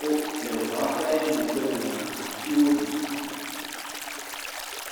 wo le ŋua ƒe megbe domea, atiwo li.